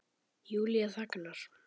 Júlía þagnar.